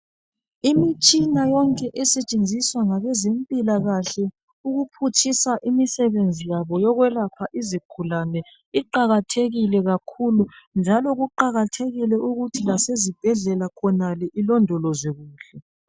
Imitshina yonke esetshenziswa ngabezempilakahle ukuphutshisa imisebenzi yabo yokwelapha izigulane iqakathekile kakhulu, njalo kuqakathekile ukuthi lasezibhedlela khonale ilondolozwe kuhle.